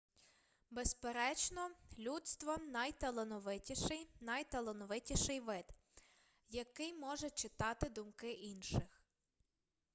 безперечно людство найталановитіший найталановитіший вид який може читати думки інших